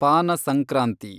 ಪಾನ ಸಂಕ್ರಾಂತಿ